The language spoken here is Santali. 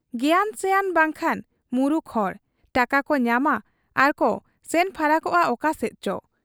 ᱜᱮᱭᱟᱱ ᱥᱮᱭᱟᱱ ᱵᱟᱝᱟᱱ ᱢᱩᱨᱩᱠ ᱦᱚᱲ ᱾ ᱴᱟᱠᱟᱠᱚ ᱧᱟᱢᱟ ᱟᱨ ᱠᱚ ᱥᱮᱱ ᱯᱷᱟᱨᱟᱠᱚᱜ ᱟ ᱚᱠᱟᱥᱮᱫ ᱪᱚ ᱾